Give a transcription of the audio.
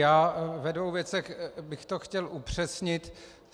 Já ve dvou věcech bych to chtěl upřesnit.